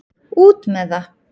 Út með það!